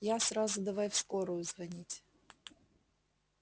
я сразу давай в скорую звонить